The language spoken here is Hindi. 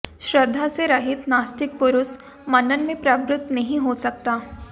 श्रद्धा से रहित नास्तिक पुरुष मनन में प्रवृत्त नहीं हो सकता